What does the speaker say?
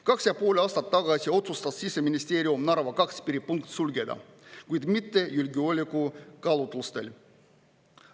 Kaks ja pool aastat tagasi otsustas Siseministeerium Narva 2 piiripunkti sulgeda, kuid mitte julgeolekukaalutlustel.